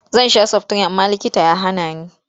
Zan sha saftirin amma likita ya hana ni.